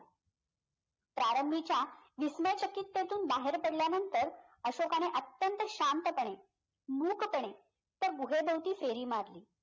प्रारंभीच्या विस्मयचकित्केतून बाहेर पडल्यानंतर अशोकाने अत्यंत शांतपणे मूकपणे त्या गुहेभोवती फेरी मारली